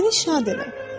Məni şad elə!